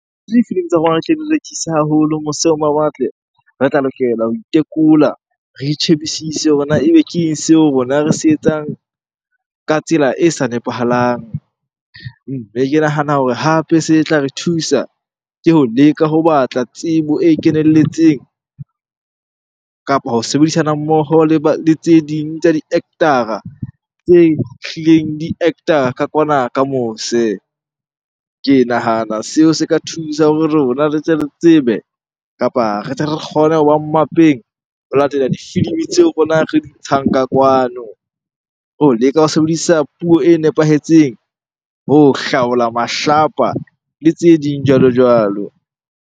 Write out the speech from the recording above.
Difilimi tsa rona re tle re rekise haholo mose ho mawatle, re tla lokela ho itekola, re itjhebisise hore na ebe ke eng seo rona re se etsang ka tsela e sa nepahalang? Mme ke nahana hore hape se tla re thusa, ke ho leka ho batla tsebo e kenelletseng kapa ho sebedisana mmoho le tse ding tsa di-actor-a tse hlileng di actor ka kwana ka mose. Ke nahana seo se ka thusa ho rona re tle le tsebe kapa re tle re kgone hoba mmapeng ho latela difilimi tseo rona re di ntshang ka kwano. Ho leka ho sebedisa puo e nepahetseng, ho hlaola mahlapa le tse ding jwalo-jwalo.